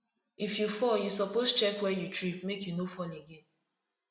if you fall you suppose check where you trip make you no fall again